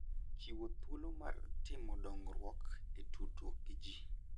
Chiwo thuolo mar timo dongruok e tudruok gi ji.